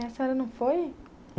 A senhora não foi?